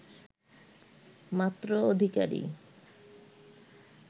মাত্র অধিকারী